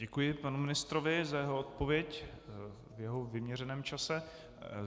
Děkuji panu ministrovi za jeho odpověď v jemu vyměřeném čase.